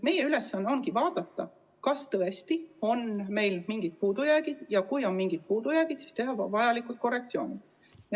Meie ülesanne ongi vaadata, kas tõesti on meil mingeid puudujääke, ja kui on mingeid puudujääke, siis teha vajalikud korrektsioonid.